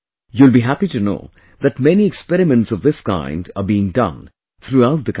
You will be happy to know that many experiments of this kind are being done throughout the country